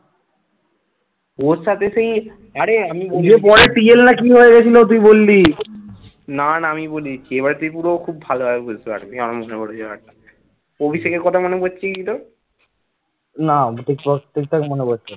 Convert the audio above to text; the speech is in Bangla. না ঠিক বস ঠিকঠাক মনে পড়ছে না ।